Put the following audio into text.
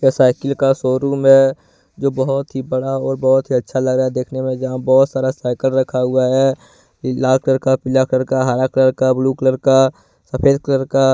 यह साइकिल का शोरूम है जो बहुत ही बड़ा और बहुत ही अच्छा लग रहा देखने में यहां बहुत सारा साइकिल रखा हुआ है लाल कलर का पीला कलर का हरा कलर का ब्लू कलर का सफेद कलर का --